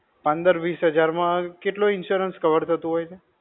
પંદર-વિસ હજાર માં કેટલો insurance cover થતો હોય છે?